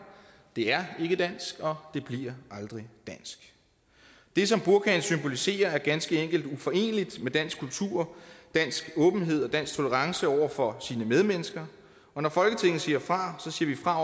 det er ikke dansk og det bliver aldrig dansk det som burkaen symboliserer er ganske enkelt uforeneligt med dansk kultur dansk åbenhed og dansk tolerance over for sine medmennesker og når folketinget siger fra siger vi fra